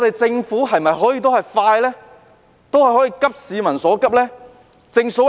政府可否加快處理，急市民所急？